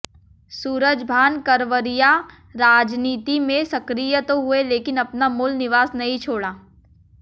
सूरजभान करवरिया राजनीति में सक्रिय तो हुए लेकिन अपना मूल निवास नहीं छोड़ा